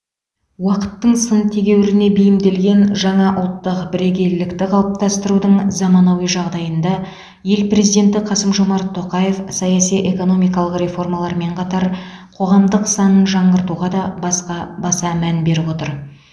уақыттың сын тегеурініне бейімделген жаңа ұлттық бірегейлікті қалыпастырудың заманауи жағдайында ел президенті қасым жомарт тоқаев саяси экономикалық реформалармен қатар қоғамдық санын жаңғыртуға да басқа баса мән беріп отыр